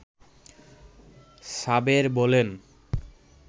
সাবের বলেন